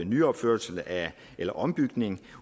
nyopførelse eller ombygning